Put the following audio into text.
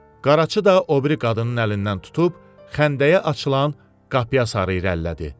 Qaraçı da o biri qadının əlindən tutub, xəndəyə açılan qapıya sarı irəlilədi.